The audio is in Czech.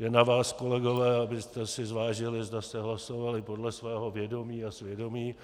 Je na vás, kolegové, abyste si zvážili, zda jste hlasovali podle svého vědomí a svědomí,